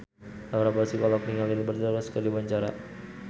Laura Basuki olohok ningali Liberty Ross keur diwawancara